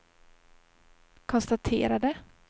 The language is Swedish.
konstaterade